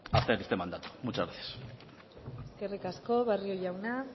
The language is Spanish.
para hacer este mandato muchas gracias eskerrik asko barrio jauna